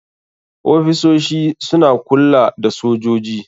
Ofisosi suna kulla da sojoji.